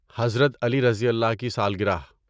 حضرت علیؓ کی سالگرہ